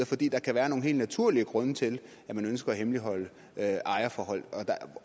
fordi der kan være nogle helt naturlige grunde til at man ønsker at hemmeligholde ejerforhold